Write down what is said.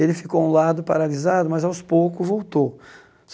Ele ficou um lado paralisado, mas aos poucos voltou.